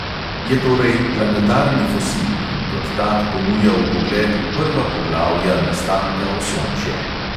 Je torej planetarni fosil in kot tak ponuja vpogled v prva poglavja nastanka osončja.